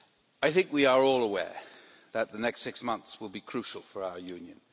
I think we are all aware that the next six months will be crucial for our Union.